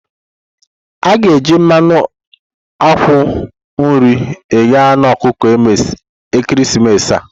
A ga-eji mmanụ akwụkwọ nri eghe anu ọkụkọ ekeresimesi a.